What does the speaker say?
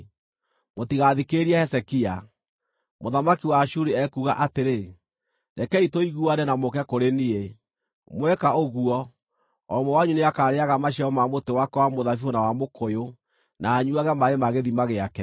“Mũtigathikĩrĩrie Hezekia. Mũthamaki wa Ashuri ekuuga atĩrĩ: Rekei tũiguane na mũũke kũrĩ niĩ. Mweka ũguo, o ũmwe wanyu nĩakarĩĩaga maciaro ma mũtĩ wake wa mũthabibũ na wa mũkũyũ na anyuuage maaĩ ma gĩthima gĩake,